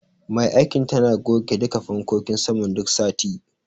Mai aikin tana goge duka fankokin saman duk sati.